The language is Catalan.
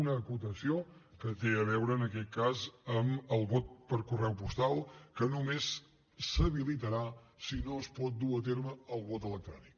una acotació que té a veure en aquest cas amb el vot per correu postal que només s’habilitarà si no es pot dur a terme el vot electrònic